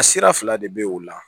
A sira fila de bɛ yen o la